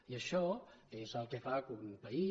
i això és el que fa que un país